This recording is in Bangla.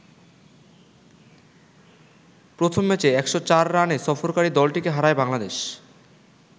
প্রথম ম্যাচে ১০৪ রানে সফরকারি দলটিকে হারায় বাংলাদেশ।